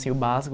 O básico,